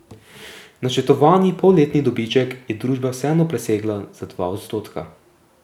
Načrtovani polletni dobiček je družba vseeno presegla za dva odstotka.